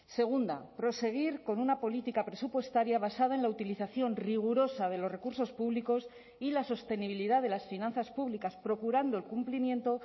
segunda proseguir con una política presupuestaria basada en la utilización rigurosa de los recursos públicos y la sostenibilidad de las finanzas públicas procurando el cumplimiento